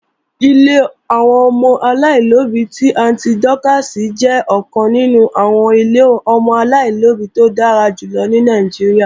Ilé àwọn ọmọ aláìlóbí ti Àntí Dọ́kààsì jẹ́ ọ̀kan nínú àwọn ilé ọmọ aláìlóbí tó dára jùlọ ní Nàìjíríà